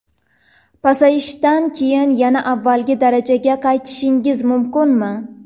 Pasayishdan keyin yana avvalgi darajaga qaytishingiz mumkinmi?